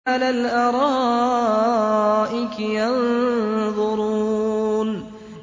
عَلَى الْأَرَائِكِ يَنظُرُونَ